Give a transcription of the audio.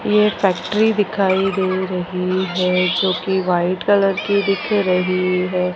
ये फैक्ट्री दिखाई दे रही है जोकि वाइट कलर की दिख रही है।